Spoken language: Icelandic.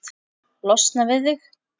Losna við þig?